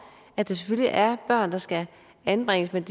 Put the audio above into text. at der selvfølgelig er børn der skal anbringes men